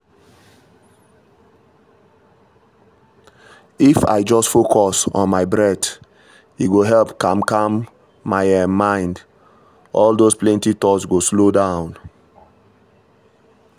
if i just focus on my breath e go help calm calm my um mind — all those plenty thoughts go slow down.